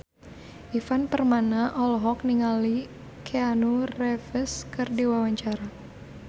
Ivan Permana olohok ningali Keanu Reeves keur diwawancara